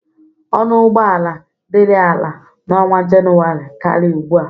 Ọnụ ụgbọ ala dịrị ala na ọnwa Jenụwarị karị ugbu a.